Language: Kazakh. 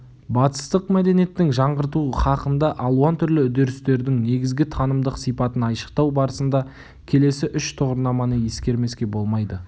батыстық мәдениеттің жаңғырту һақында алуан түрлі үдерістердің негізгі танымдық сипатын айшықтау барысында келесі үш тұғырнаманы ескермеске болмайды